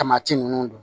Tamati nunnu don